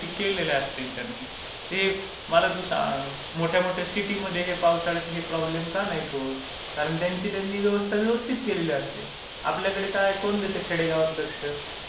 सगळ्या गोष्टी जर केलेल्या असतील त्यांनी. मला तू सांग, मोठ्या मोठ्या सिटी मध्ये हे पावसाळ्यात हे प्रॉब्लेम का नाही होत? कारण त्यांची त्यांनी व्यवस्था व्यवस्थित केलेली असते. आपल्याकडे काय, कोण देते खेडेगावात लक्ष?